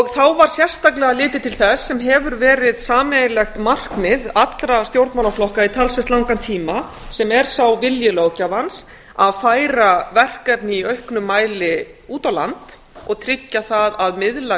þá var sérstaklega litið til þess sem hefur verið sameiginlegt markmið allra stjórnmálaflokka í talsvert langan tíma sem er sá vilji löggjafans að færa verkefni í auknum mæli út á land og tryggja það að miðlæg